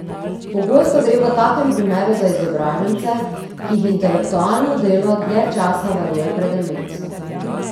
Pogosto gre v takem primeru za izobražence, ki jih intelektualno delo dlje časa varuje pred demenco.